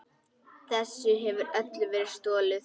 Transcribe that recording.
Þessu hefur öllu verið stolið!